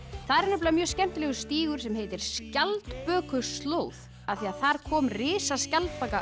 þar er mjög skemmtilegur stígur sem heitir Skjaldbökuslóð af því þar kom